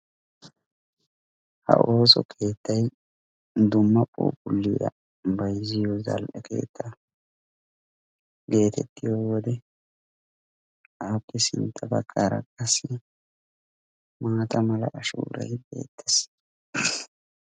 Ha ooso keettay dumma phuuphuliya bayzziyo zal"e keettaa getettiyo wode appe sintta baggaara qaasi maata mala ashshoray beettees.